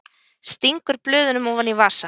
Stingur blöðunum ofan í vasa.